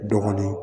Dɔɔnin